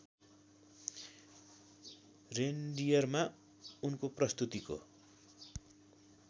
रेनडियरमा उनको प्रस्तुतिको